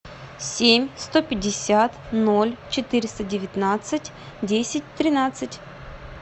семь сто пятьдесят ноль четыреста девятнадцать десять тринадцать